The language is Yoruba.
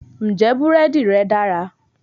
Ǹjẹ́ búrẹ́dì rẹ́ dára?